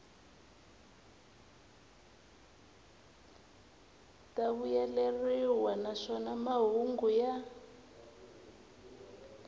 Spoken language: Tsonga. ta vuyeleriwa naswona mahungu ya